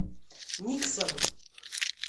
никсон